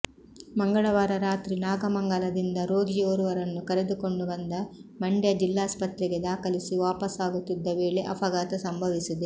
ಮಂಗಳವಾರ ರಾತ್ರಿ ನಾಗಮಂಗಲದಿಂದ ರೋಗಿಯೋರ್ವರನ್ನು ಕರೆದುಕೊಂಡು ಬಂದು ಮಂಡ್ಯ ಜಿಲ್ಲಾಸ್ಪತ್ರೆಗೆ ದಾಖಲಿಸಿ ವಾಪಾಸಾಗುತ್ತಿದ್ದ ವೇಳೆ ಅಪಘಾತ ಸಂಭವಿಸಿದೆ